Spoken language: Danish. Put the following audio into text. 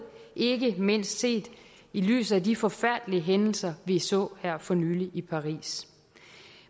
ikke mindst set i lyset af de forfærdelige hændelser vi så her for nylig i paris